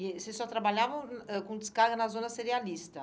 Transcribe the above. E vocês só trabalhavam hum ãh com descarga na zona serialista?